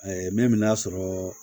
min bɛ n'a sɔrɔ